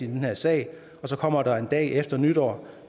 her sag så kommer der en dag efter nytår